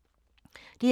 DR2